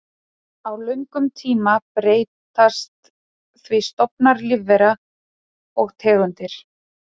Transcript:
Á löngum tíma breytast því stofnar lífvera og tegundir.